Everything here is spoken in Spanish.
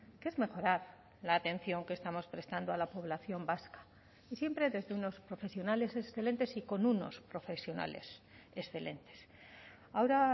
que es mejorar la atención que estamos prestando a la población vasca y siempre desde unos profesionales excelentes y con unos profesionales excelentes ahora